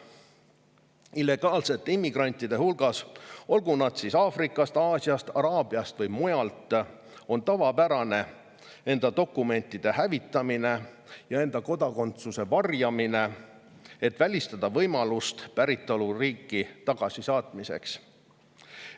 Illegaalsete immigrantide hulgas, olgu nad siis Aafrikast, Aasiast, Araabiast või mujalt, on tavapärane dokumentide hävitamine ja enda kodakondsuse varjamine, et välistada päritoluriiki tagasisaatmise võimalus.